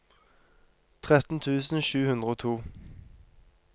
tretten tusen sju hundre og to